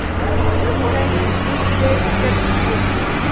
Þríhyrningar með punkti: fjalljöklar.